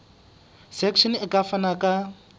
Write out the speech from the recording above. section e ka fana ka